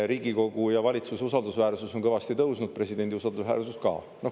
Riigikogu ja valitsuse usaldusväärsus on kõvasti tõusnud, presidendi usaldusväärsus ka.